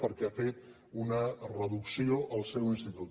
perquè han fet una reducció al seu institut